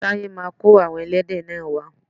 Taye ma kó àwon ẹlẹ́dẹ̀ náà wa